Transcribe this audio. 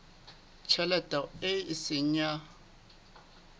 tjhelete eo e seng ya